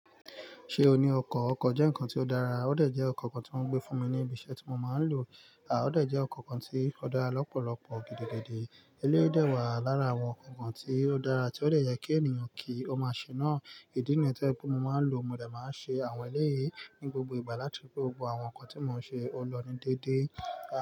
Ṣé o ní ọkọ̀? Ọkọ̀ jẹ́ nǹkan tí ó dára, ó dà jẹ́ ọkọ̀ kan tí wọ́n gbé fún mi ní ibi iṣẹ́ tí mo máa ń lò, a ó dà jẹ́ ọkọ̀ kan tí ó dára lọ́pọ̀lọpọ̀ gidigidi. Eléyìí dà wà lára àwọn ǹkan kan tí ó dára tí ó dẹ yẹ kí ènìyàn kí ó máa ṣe náà. Ídì nìyẹn to jẹ pé mo máa ń lò, mo dà máa ń ṣe àwọn eléyìí ní gbogbo ìgbà láti ri pé gbogbo àwọn ǹkan tí mò ń ṣe ọ lọ ní dédé. A.